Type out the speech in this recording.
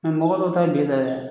mɔgɔ dɔ ta ben